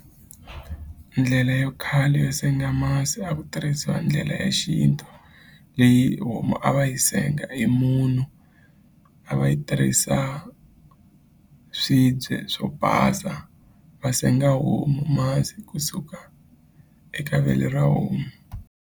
Ndlela yo khale yo senga masi a ku tirhisiwa ndlela ya xintu leyi homu a va yi senga hi munhu a va yi tirhisa swibye swo basa va senga homu masi kusuka eka vele ra homu.